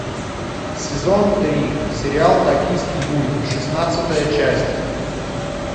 сезон три сериал токийский гуль шестнадцатая часть